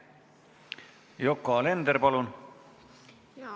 Yoko Alender, palun!